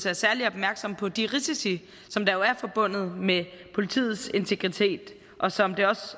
er særlig opmærksom på de risici som jo er forbundet med politiets integritet og som det også